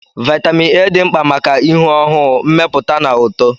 Vitamin A dị mkpa maka ihu ọhụụ, mmepụta na uto